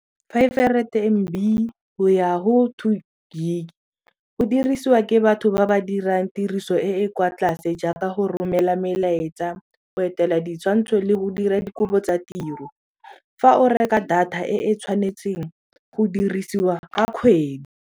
Five hundred M_B go ya go two gig go dirisiwa ke batho ba ba dirang tiriso e e kwa tlase jaaka go romela melaetsa go etela ditshwantsho le go dira dikopo tsa tiro fa o reka data e e tshwanetseng go dirisiwa ka kgwedi.